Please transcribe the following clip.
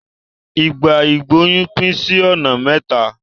Ìgbà ìgbóyún pín sí ọ̀nà mẹ́ta.